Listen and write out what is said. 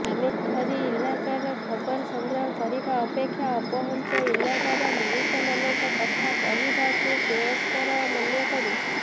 ଆମେ ସହରୀ ଇଲାକାରେ ଖବର ସଂଗ୍ରହ କରିବା ଅପେକ୍ଷା ଅପହଂଚ ଇଲାକାର ମଣିଷମାନଙ୍କ କଥା କହିବାକୁ ଶ୍ରେୟସ୍କର ମନେକରୁଁ